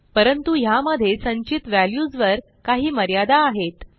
परंतु ह्यामध्ये संचित व्हॅल्यूजवर काही मर्यादा आहेत